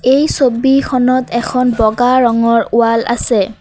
এই ছবিখনত এখন বগা ৰঙৰ ৱাল আছে।